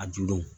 A dudenw